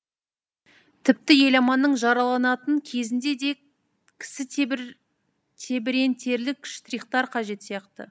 тіпті еламанның жараланатын кезінде де кісі тебірентерлік штрихтар қажет сияқты